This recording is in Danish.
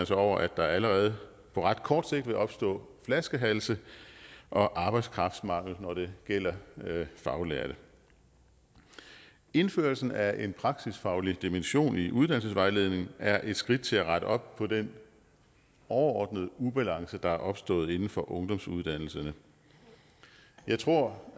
sig over at der allerede på ret kort sigt vil opstå flaskehalse og arbejdskraftmangel når det gælder faglærte indførelsen af en praksisfaglig dimension i uddannelsesvejledning er et skridt til at rette op på den overordnede ubalance der er opstået inden for ungdomsuddannelserne jeg tror